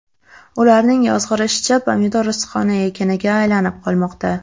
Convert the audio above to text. Ularning yozg‘irishicha, pomidor issiqxona ekiniga aylanib qolmoqda.